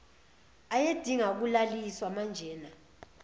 ayedinga ukulaliswa manjena